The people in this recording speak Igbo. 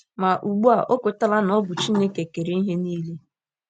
Ma ugbu a, o kwetala na ọ bụ Chineke kere ihe niile.